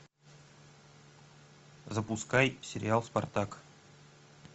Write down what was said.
запускай сериал спартак